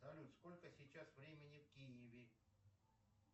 салют сколько сейчас времени в киеве